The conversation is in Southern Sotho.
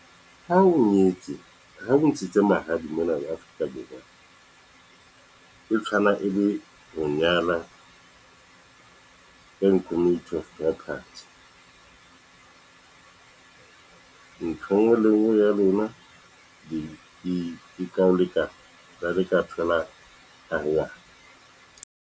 Ha o nyetse ha bo ntshetse mahadi mona Afrika Borwa, e tshwana e le ho nyala in community of property , ntho engwe le ngwe ya rona e ka ho lekana le hare ka thola .